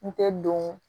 N tɛ don